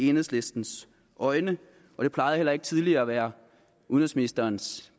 enhedslistens øjne og det plejede heller ikke tidligere at være udenrigsministerens